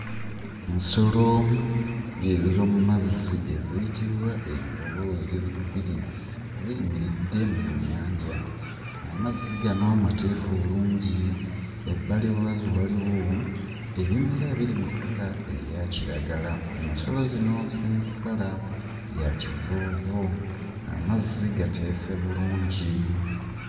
Ensolo ez'ommazi eziyitibwa envubu ziri bbiri ziyimiridde mu nnyanja, amazzi gano mateefu bulungi, ebbali waazo waliwo ebimera ebiri mu kkala eya kiragala, ensolo zino ziri mu kkala ya kivuuvu, amazzi gateese bulungi.